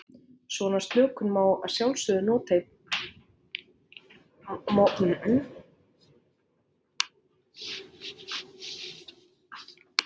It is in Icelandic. Svona slökun má að sjálfsögðu líka nota í prófinu sjálfu.